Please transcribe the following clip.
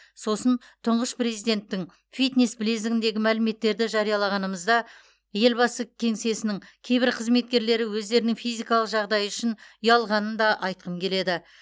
сосын тұңғыш президенттің фитнес білезігіндегі мәліметтерді жариялағанымызда елбасы кеңсесінің кейбір қызметкерлері өздерінің физикалық жағдайы үшін ұялғанын да айтқым келеді